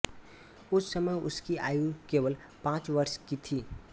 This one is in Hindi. उस समय उसकी आयु केवल पाँच वर्ष की थी